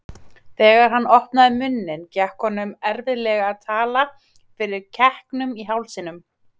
Þegar hann opnaði munninn gekk honum erfiðlega að tala fyrir kekkinum í hálsinum.